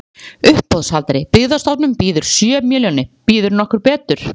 Uppboðshaldari: Byggðastofnun býður sjö milljónir, býður nokkur betur?